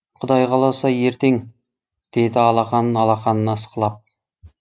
құдай қаласа ертең деді алақанын алақанына ысқылап